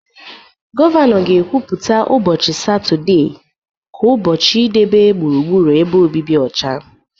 Gọvanọ ga-ekwupụta ụbọchị Satọde ka ụbọchị idebe gburugburu ebe obibi ọcha.